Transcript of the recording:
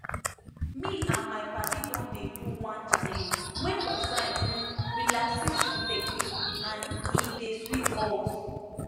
me and my padi don dey do one challenge wey concern um relaxation technique and e dey sweet us